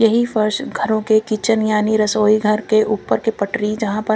यही फर्श घरों के किचन यानी रसोई घर के ऊपर के पटरी जहां पर--